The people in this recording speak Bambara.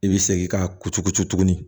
I bɛ segin ka kuturucu tuguni